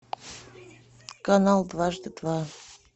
канал дважды два